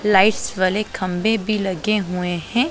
Lights वाले खंभे भी लगे हुए हैं।